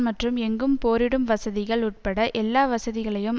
மற்றும் எங்கும் போரிடும் வசதிகள் உட்பட எல்லா வசதிகளையும்